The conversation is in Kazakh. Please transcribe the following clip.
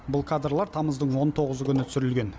бұл кадрлар тамыздың он тоғызы күні түсірілген